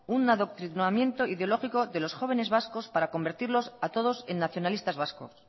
un adoctrinamiento ideológico de los jóvenes vascos para convertirlos a todos en nacionalistas vascos